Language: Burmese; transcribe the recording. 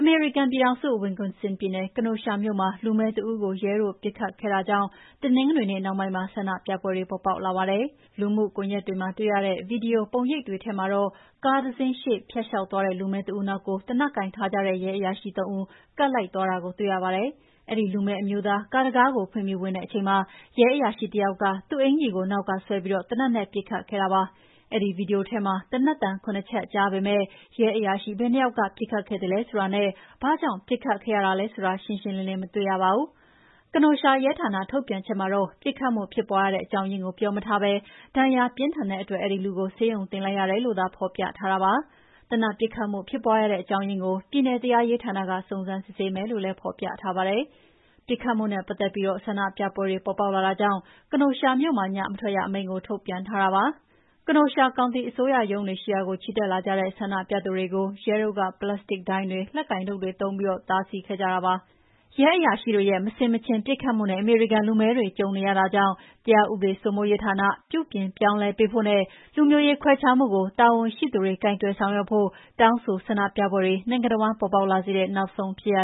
မေရိကန်ပြည်ထောင်စု၊ Wisconsin ပြည်နယ် Kenosha မြို့မှာ လူမည်းတဦးကို ရဲတို့ပစ်ခတ်မှုဖြစ်ပွားခဲ့တာကြောင့် တနင်္ဂနွေနေ့နှောင်းပိုင်းမှာ ဆန္ဒပြပွဲတွေ ပေါ်ပေါက်လာပါတယ်။ လူမှုကွန်ယက်တွေမှာတွေ့ရတဲ့ ဗီဒီယိုပုံရိပ်တွေထဲမှာတော့ ကားတစင်းရှေ့ကဖြတ်လေ ျှာက်သွားတဲ့ လူမည်းတဦးနောက်ကို သေနတ်တွေကိုင်ထားကြတဲ့ ရဲအရာရှိ သုံး ဦး ကပ်လိုက်သွားတာကိုတွေ့ရပါတယ်။ အဲဒီလူမည်းအမျိုးသား ကားတံခါးကိုဖွင့်ပြီးဝင်တဲ့အချိန်မှာ ရဲအရာရှိတယောက်က သူ့အင်္ကျီကိုနောက်ကဆွဲပြီး သေနတ်နဲ့ ပစ်ခတ်ခဲ့တာပါ။ အဲဒီဗွီဒီယိုထဲမှာ သေနတ်သံ ၇ ချက်ကြားပေမဲ့ ရဲအရာရှိဘယ်နှစ်ယောက်က ပစ်ခတ်ခဲ့သလဲဆိုတာနဲ့ ဘာကြောင့်ပစ်ခတ်မှုဖြစ်ခဲ့ရသလဲဆိုတာ ရှင်းရှင်းလင်းလင်းမတွေ့ရပါဘူး။ Kenosha ရဲဌာန ထုတ်ပြန်ချက်မှာတော့ ပစ်ခတ်မှုဖြစ်ပါွးရတဲ့ အကြောင်းရင်းကိုပြောမထားပဲ ဒဏ်ရာပြင်းထန်တဲ့အတွက် အဲဒီလူကို ဆေးရုံတင်လိုက်ရတယ်လို့သာဖော်ပြထားတာပါ။ သေနတ်ပစ်ခတ်မှု ဖြစ်ပါွးရတဲ့ အကြောင်းရင်းကို ပြည်နယ်တရားရေးဌာနက စုံစမ်းစစ်ဆေးမယ်လို့လည်း ဖော်ပြထားပါတယ်။ ပစ်ခတ်မှုနဲ့ ပတ်သက်ပြီး ဆန္ဒပြပွဲတွေ ပေါ်ပေါက်လာတာကြောင့် Kenosha မြို့မှာ ညမထွက်ရအမိန့်ထုတ်ပြန်ထားပါတယ်။ Kenosha ကောင်တီ အစိုးရရုံးတွေရှိရာကို ချီတက်လာတဲ့ ဆန္ဒပြသူတွေကို ရဲတို့က ပလစ်စတစ်ဒိုင်းတွေ၊ လက်ကိုင်တုတ်တွေသုံးပြီး တားဆီးခဲ့ကြပါတယ်။ ရဲအရာရှိတွေရဲ့ မဆင်မခြင်ပစ်ခတ်မှုနဲ့ အမေရိကန်လူမည်းတွေကြုံနေရတာကြောင့် တရာဥပေးစိုးမိုးရေးဌာန ပြုပြင်ပြောင်းလဲဖို့နဲ့ လူမျိုးရေးခွဲခြားမှုကို တာဝန်ရှိသူတွေ ကိုင်တွယ်ဆောင်ရွက်ဖို့ တောင်းဆိုဆန္ဒပြပွဲတွေ နိုင်ငံတဝှမ်း ပေါ်ပေါက်လာစေတဲ့နောက်ဆုံးဖြစ်ရ